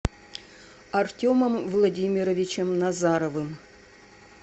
артемом владимировичем назаровым